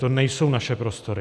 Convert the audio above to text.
To nejsou naše prostory.